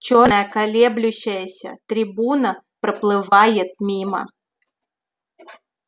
чёрная колеблющаяся трибуна проплывает мимо